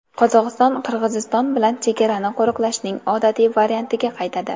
Qozog‘iston Qirg‘iziston bilan chegarani qo‘riqlashning odatiy variantiga qaytadi.